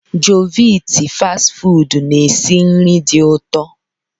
Jovit fast ị fụdu na-esi nri dị ụtọ.